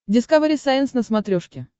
дискавери сайенс на смотрешке